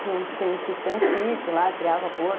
Tem um tipo, tem um sítio lá, criava porco.